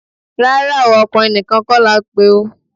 Rárá o, ọkùnrin nìkan kọ́ la pè o